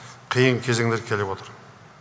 қиын кезеңдер келіп отыр